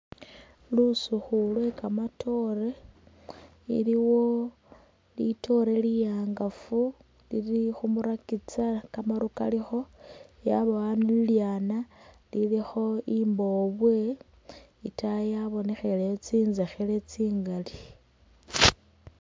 Lusikhu Lwe kamatore iliwo litore liwangafu lili khu murakitsa kamaru kalikho yabawo ilyana lilikho imbobwe , itayi yabonekheleyo tsintsekhele tsingali .